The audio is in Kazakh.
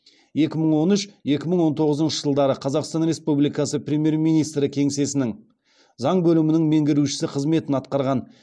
екі мың он үш екі мың он тоғызыншы жылдары қазақстан республикасы премьер министрі кеңсесінің заң бөлімінің меңгерушісі қызметін атқарған